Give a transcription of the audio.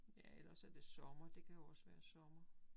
Ja eller også er det sommer det kan jo også være sommer